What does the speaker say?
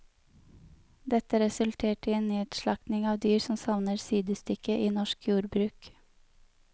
Dette resulterte i en nedslakting av dyr som savner sidestykke i norsk jordbruk.